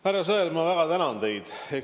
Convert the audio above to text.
Härra Sõerd, ma väga tänan teid!